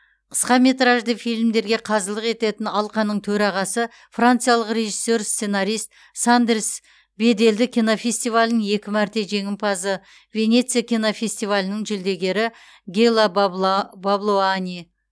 қысқаметражды фильмдерге қазылық ететін алқаның төрағасы франциялық режиссер сценарист сандерс беделді кинофестивалінің екі мәрте жеңімпазы венеция кинофестивалінің жүлдегері гела баблуани